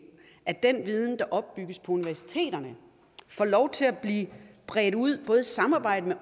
at den viden der opbygges på universiteterne får lov til at blive bredt ud ud i samarbejde